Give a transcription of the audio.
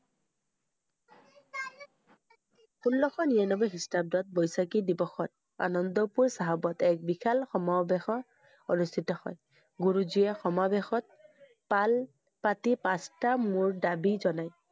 ষোল্লশ নিৰানব্বৈ খ্ৰীষ্টাব্দত বৈশাখী দিৱসত, আনন্দপুৰ চাহাবত এক বিশাল সমা~বেশৰ অনুষ্ঠিত হয়। গুৰুজীয়ে সমাবেশত পাল~পাতি পাঁচটা মোৰ দাবী জনায়।